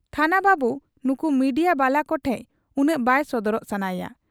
ᱛᱷᱟᱱᱟ ᱵᱟᱹᱵᱩ ᱱᱩᱠᱩ ᱢᱤᱰᱤᱭᱟ ᱵᱟᱞᱟ ᱠᱚᱴᱷᱮᱫ ᱩᱱᱟᱹᱜ ᱵᱟᱭ ᱥᱚᱫᱚᱨᱚᱜ ᱥᱟᱱᱟᱭᱟ ᱾